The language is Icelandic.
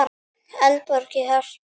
Eldborg í Hörpu.